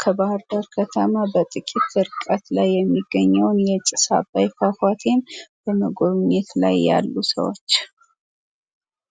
ከባህር ዳር ከተማ በትንሽ ርቀት ላይ የሚገኘውን የጭስ አባይ ፏፏቴን በመጎብኘት ላይ ያሉ ሰዎች ።